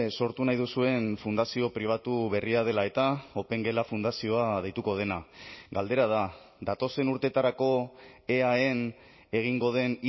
sortu nahi duzuen fundazio pribatu berria dela eta opengela fundazioa deituko dena galdera da datozen urteetarako eaen egingo den